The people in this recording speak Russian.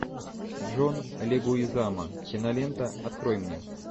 джон легуизамо кинолента открой мне